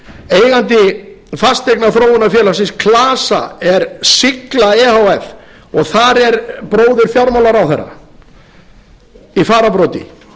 eigandi fasteignaþróunarfélagsins klasa er sigla e h f og þar er bróðir fjármálaráðherra í fararbroddi